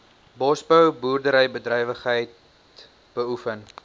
bosbou boerderybedrywighede beoefen